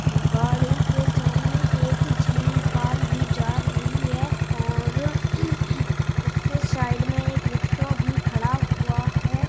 गाड़ी के सामने एक जी कार भी जा रही है और उसके साइड में एक रिक्शा भी खड़ा हुआ है।